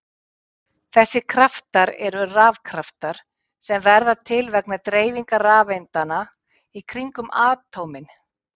Þessir kraftar eru rafkraftar sem verða til vegna dreifingar rafeindanna í kringum atómin.